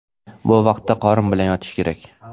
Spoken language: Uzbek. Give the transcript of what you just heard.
Bu vaqtda qorin bilan yotish kerak.